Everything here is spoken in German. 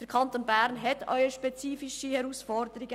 Der Kanton Bern hat spezifische Herausforderungen.